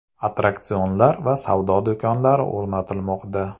Attraksionlar va savdo do‘konlari o‘rnatilmoqda.